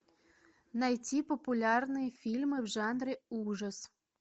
найти популярные фильмы в жанре ужас